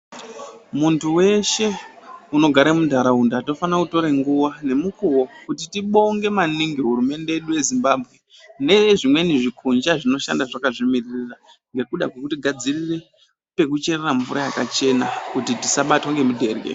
Muntu weshe unogare muntaraunda tofane kutora nguwa ngemukuwo kuti tibonge maningi hurumende yedu yeZimbambwe nezvimweni zvikonja zvinoshanda zvakazvimiririra nekuda kwekuti gadzirire pekucherera mvura yakachena kuti tisabatwa ngemudherye.